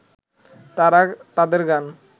তারা তাদের গান